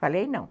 Falei não.